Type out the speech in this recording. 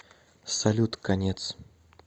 салют конец